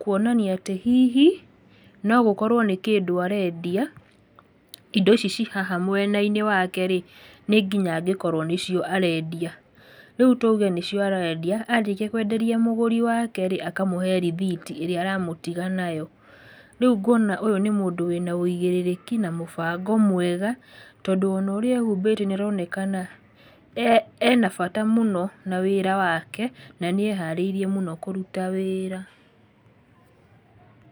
kuonania atĩ hihi, no gũkorwo nĩkĩndũ arendia, indo ici cihaha mwena-inĩ wake rĩ, nĩnginya angĩkorwo nĩcio arendia, rĩu tuge nĩcio arendia, arĩkia kwenderia mũgũri wake rĩ, akamũhe rĩthiti ĩrĩa aramũtiga nayo. Rĩu ngona ũyũ nĩ mũndũ wĩna wĩigĩrĩrĩki, na mũbango mwega, tondũ ona ũrĩa ehumbĩte nĩ aronekana ena bata mũno na wĩra wake, na nĩ eharĩirie mũno kũruta wĩra.